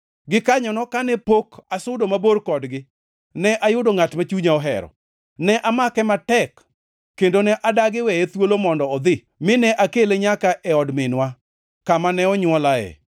Gikanyono, kane pok asudo mabor kodgi, ne ayudo ngʼat ma chunya ohero. Ne amake matek, kendo ne adagi weye thuolo mondo odhi mine akele nyaka e od minwa, kama ne onywolae.